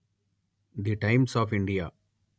the Times of India